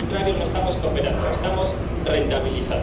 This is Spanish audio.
de lo contrario, no estamos cooperando, estamos rentabilizando.